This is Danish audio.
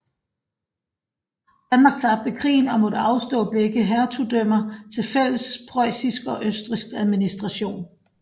Danmark tabte krigen og måtte afstå begge hertugdømmer til fælles preussisk og østrigsk administration